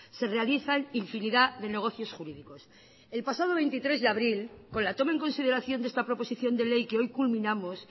se realizan infinidad de negocios jurídicos el pasado veintitrés de abril con la toma en consideración de esta proposición de ley que hoy culminamos